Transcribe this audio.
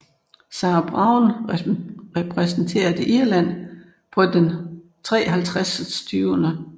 Sarah Browne repræsenterede Irland på den 53